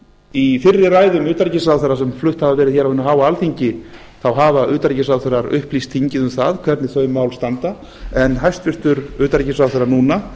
í fyrri ræðum utanríkisráðherra sem flutt hafa verið á hinu háa alþingi þá hafa utanríkisráðherrar upplýst þingið um það hvernig þau mál standa en hæstvirtur utanríkisráðherra núna